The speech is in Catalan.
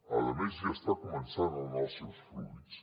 a més ja està començant a donar els seus fruits